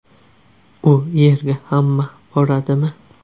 U yerga hamma boradimi?